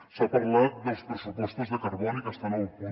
s’ha parlat dels pressupostos de carboni que estan a un coma un